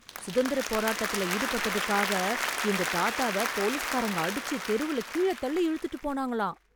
சுதந்திரப் போராட்டத்துல ஈடுபட்டதுக்காக எங்க தாத்தாவை போலிஸ்காரங்க அடிச்சு, தெருவுல கீழ தள்ளி இழுத்துட்டு போனாங்களாம்.